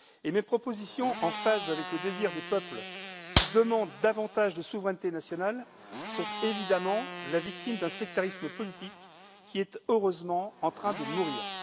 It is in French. Mes propositions, en phase avec le désir des peuples, qui demandent davantage de souveraineté nationale, sont évidemment victimes d'un sectarisme politique, qui est heureusement en train de mourir.